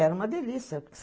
Era uma delícia.